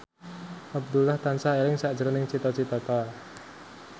Abdullah tansah eling sakjroning Cita Citata